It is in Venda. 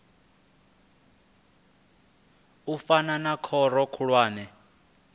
u fana na khoro khulwane